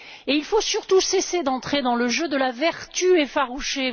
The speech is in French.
Il faut surtout cesser d'entrer dans le jeu de la vertu effarouchée